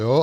Jo?